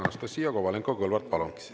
Anastassia Kovalenko-Kõlvart, palun!